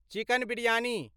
chicken biryani